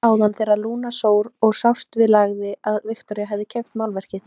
Rétt áðan þegar Lúna sór og sárt við lagði að Viktoría hefði keypt málverkið.